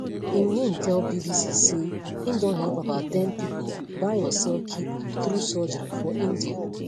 im name tell bbc say im don help about ten pipo buy or sell kidney through surgery for india